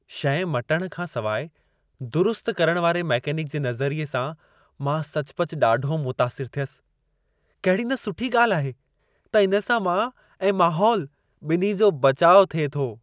शइ मटणु खां सवाइ, दुरुस्त करण वारे मैकेनिक जे नज़रिए सां मां सचुपचु ॾाढो मुतासिरु थियसि। कहिड़ी न सुठी ॻाल्हि आहे त इन सां मां ऐं माहोल ॿिन्ही जो बचाउ थिए थो।